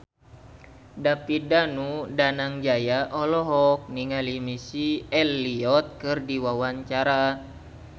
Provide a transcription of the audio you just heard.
David Danu Danangjaya olohok ningali Missy Elliott keur diwawancara